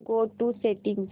go to settings